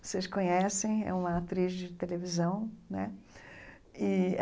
Vocês conhecem, é uma atriz de televisão né e.